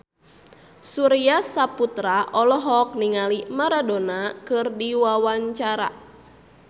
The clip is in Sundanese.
Surya Saputra olohok ningali Maradona keur diwawancara